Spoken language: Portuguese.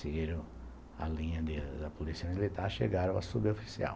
Seguiram a linha de da Polícia Militar e chegaram à Suboficial.